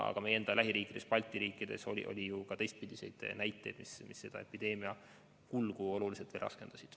Aga meie lähiriikides, ka Balti riikides on ju ka olnud teistpidiseid olukordi, mis epideemia kulgu oluliselt raskendasid.